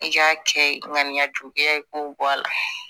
I k'a kɛ ŋaniya juguya i k'o bɔ a la